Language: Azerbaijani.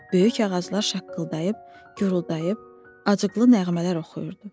Böyük ağaclar şaqqıldayıb, guruldayıb, acıqlı nəğmələr oxuyurdu.